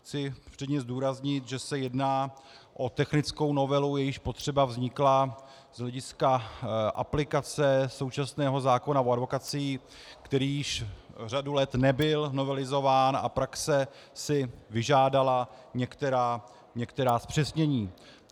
Chci předně zdůraznit, že se jedná o technickou novelu, jejíž potřeba vznikla z hlediska aplikace současného zákona o advokacii, který již řadu let nebyl novelizován, a praxe si vyžádala některá zpřesnění.